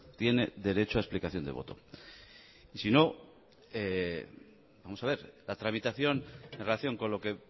tiene derecho a explicación de voto y sino vamos a ver la tramitación en relación con lo que